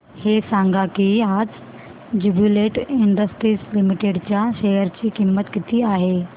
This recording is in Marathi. हे सांगा की आज ज्युबीलेंट इंडस्ट्रीज लिमिटेड च्या शेअर ची किंमत किती आहे